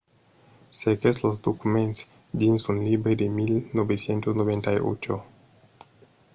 cerquèt los documents dins un libre de 1998